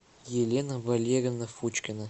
елена валерьевна фучкина